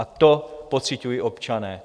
A to pociťují občané.